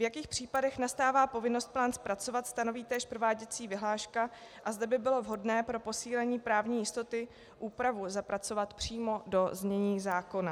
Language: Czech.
V jakých případech nastává povinnost plán zpracovat, stanoví též prováděcí vyhláška, a zde by bylo vhodné pro posílení právní jistoty úpravu zapracovat přímo do znění zákona.